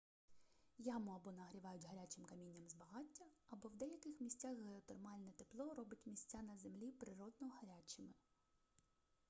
яму або нагрівають гарячим камінням з багаття або в деяких місцях геотермальне тепло робить місця на землі природно гарячими